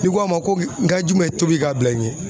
Ni ko a ma ko n ka jumɛn ye tobili ka bila i ɲɛ?